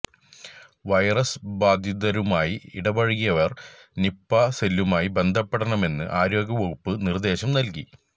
virus ബാധിതരുമായി ഇടപഴകിയവര് Nipah സെല്ലുമായി ബന്ധപ്പെടണമെന്ന് ആരോഗ്യ വകുപ്പ് നിര്ദേശം നല്കി